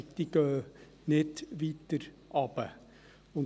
Diese gehen nicht weiter nach unten.